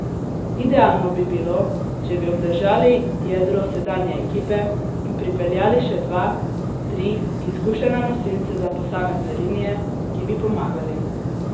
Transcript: Idealno bi bilo, če bi obdržali jedro sedanje ekipe in pripeljali še dva, tri izkušene nosilce za posamezne linije, ki bi pomagali.